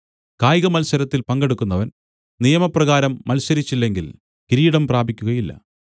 കായികമൽസരത്തിൽ പങ്കെടുക്കുന്നവൻ നിയമപ്രകാരം മത്സരിച്ചില്ലെങ്കിൽ കിരീടം പ്രാപിക്കുകയില്ല